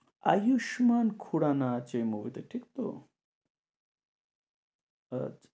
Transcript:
আয়ুষ্মান খোরানা আছে movie তে ঠিক তো?